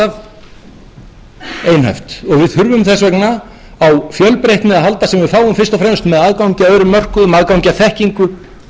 fjölbreytni að halda sem við fáum fyrst og fremst með aðgangi að öðrum mörkuðum aðgangi að þekkingu